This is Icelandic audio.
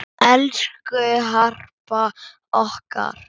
Elsku Harpa okkar.